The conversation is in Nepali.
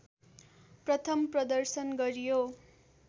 प्रथम प्रदर्शन गरियो